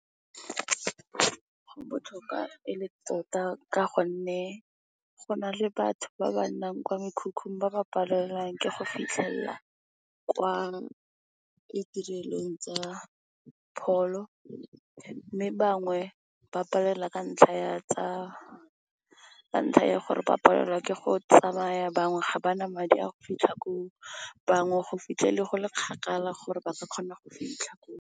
Go botlhokwa e le tota ka gonne, go na le batho ba ba nnang kwa mekhukhung ba ba palelwang ke go fitlhelela kwa ditirelong tsa pholo. Mme, bangwe ba palelwa ka ntlha ya gore ba palelwa ke go tsamaya, bangwe ga ba na madi a go fitlha koo, bangwe go fitlhelele go le kgakala gore ba ka kgona go fitlha koo.